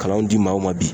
Kalanw di maaw ma bi